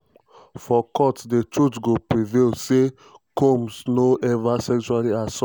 "for court di truth go prevail: say combs no ever sexually assault or traffick anyone - man or woman adult or minor."